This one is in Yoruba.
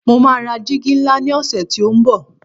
mo ma ra jìgì nla ni ọsẹ ti o nbo